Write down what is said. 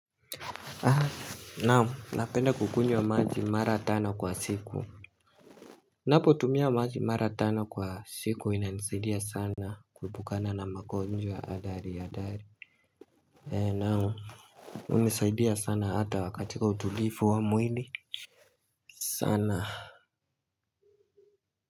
Naam, napenda kukunywa maji mara tano kwa siku Ninapotumia maji mara tano kwa siku inanizaidia sana kuepukana na magonjwa hatari hatari. Nao unizaidia sana hata katika utulivu wa mwili sana.